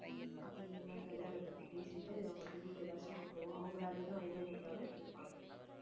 அப்ப நீ என்னங்கிறதை அதைப் பத்தி பேசிட்டு அவங்கள்ட்ட detail ஆ சொல்லிக்கோ அவங்க வேற எதுவும் idea கொடுத்தாலும் கொடுப்பாங்க